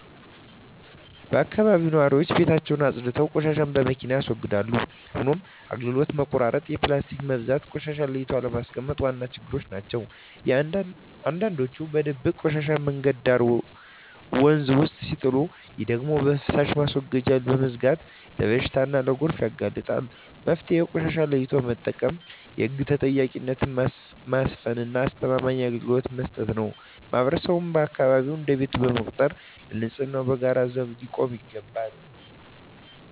በአካባቢያችን ነዋሪዎች ቤታቸውን አፅድተው ቆሻሻን በመኪና ያስወግዳሉ። ሆኖም የአገልግሎት መቆራረጥ፣ የፕላስቲክ መብዛትና ቆሻሻን ለይቶ አለማስቀመጥ ዋና ችግሮች ናቸው። አንዳንዶች በድብቅ ቆሻሻን መንገድ ዳርና ወንዝ ውስጥ ሲጥሉ፣ ይህ ደግሞ የፍሳሽ ማስወገጃዎችን በመዝጋት ለበሽታና ለጎርፍ ያጋልጣል። መፍትሄው ቆሻሻን ለይቶ መጠቀም፣ የህግ ተጠያቂነትን ማስፈንና አስተማማኝ አገልግሎት መስጠት ነው። ማህበረሰቡም አካባቢውን እንደ ቤቱ በመቁጠር ለንፅህናው በጋራ ዘብ ሊቆም ይገባል።